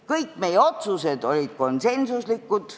Kõik meie otsused olid konsensuslikud.